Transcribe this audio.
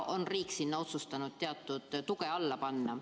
Riik on otsustanud sinna teatud toe alla panna.